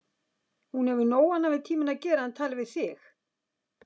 Hún hefur nóg annað við tímann að gera en tala við þig.